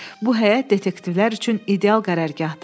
Bu həyət detektivlər üçün ideal qərargahdır.